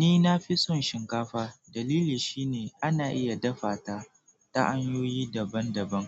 Ni na fi son shinkafa dalili shine ana iya dafa ta ta hanyoyi daban daban